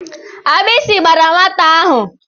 Agbisi gbara nwata ahụ.